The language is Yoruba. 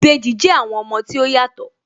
Ìbejì jẹ́ àwọn ọmọ tí ó yàtọ̀